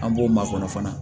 An b'o makɔnɔ fana